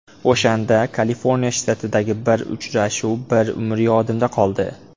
O‘shanda Kaliforniya shtatidagi bir uchrashuv bir umr yodimda qoldi.